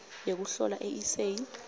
yekuhlola i eseyi